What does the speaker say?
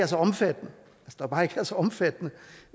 så omfattende omfattende